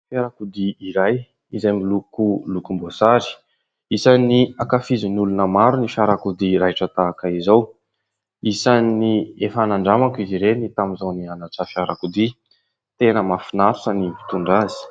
Fiarakodia iray izay miloko lokomboasary isan'ny ankafizin'ny olona maro ny fiarakodia raitra tahaka izao. Isan'ny efa nandramako izy ireny tamin'izaho nianatra fiarakodia tena mahafinaritra ny mitondra azy.